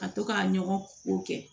Ka to ka ɲɔgɔn ko kɛ